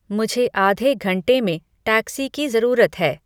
मुझे आधे घण्टे में टैक्सी की जरूरत है